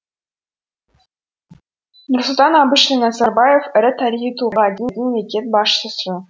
нұрсұлтан әбішұлы назарбаев ірі тарихи тұлға деді мемлекет басшысы